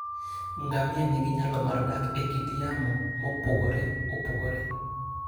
Ngamia nigi nyalo mar dak e kit yamo mopogore opogore.